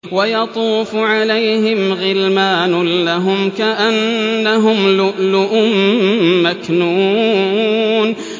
۞ وَيَطُوفُ عَلَيْهِمْ غِلْمَانٌ لَّهُمْ كَأَنَّهُمْ لُؤْلُؤٌ مَّكْنُونٌ